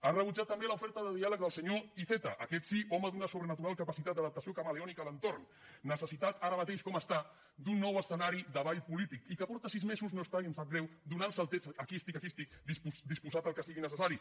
ha rebutjat també l’oferta de diàleg del senyor iceta aquest sí home d’una sobrenatural capacitat d’adaptació camaleònica a l’entorn necessitat ara mateix com està d’un nou escenari de ball polític i que fa sis mesos no està i em sap greu que dóna saltets aquí estic aquí estic disposat al que sigui necessari